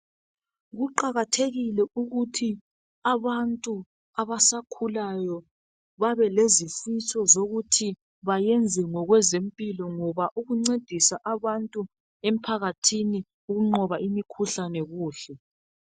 Kuqakathekile ukuthi abantu abasakhulayo babe lezifiso zokuthi bayenze ngokwezempilo. Ngoba ukuncedisa abantu emphakathini ukunqoba imikhuhlane kuhle.